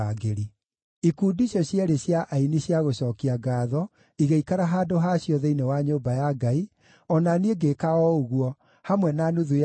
Ikundi icio cierĩ cia aini cia gũcookia ngaatho igĩikara handũ ha cio thĩinĩ wa nyũmba ya Ngai, o na niĩ ngĩĩka o ũguo, hamwe na nuthu ya anene,